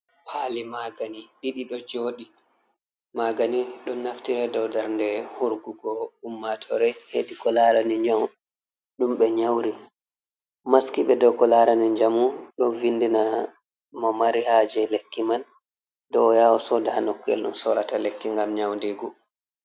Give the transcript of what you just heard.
Paali magani ɗiɗi ɗo jouɗi. Magani ɗum naftira dow darde hurgugo ummatore hedi ko larani nyau ɗum be nyauri, maski ɓe dow ko larani jamu don vindina mo mari haje lekki man dow o'ya soda ha nokku'el ɗum sorata lekki ngam nyaudigu.